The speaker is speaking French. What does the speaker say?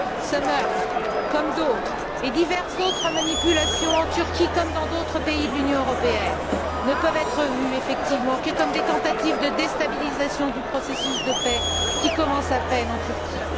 Ce meurtre, comme d'autres, et diverses autres manipulations en Turquie comme dans d'autres pays de l'Union européenne ne peuvent être vus effectivement que comme des tentatives de déstabilisation du processus de paix qui commence à peine en Turquie.